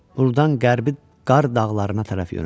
Burdan Qərbi Qarr dağlarına tərəf yönəldi.